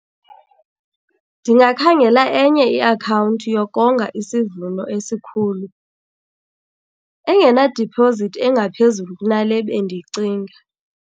Ndingakhangela enye iakhawunti yokonga isivuno esikhulu engena diphozithi engaphezulu kunale bendiyicinga.